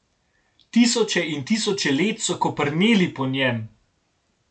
Tisoče in tisoče let so koprneli po njem.